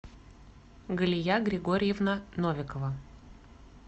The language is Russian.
галия григорьевна новикова